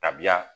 Tabiya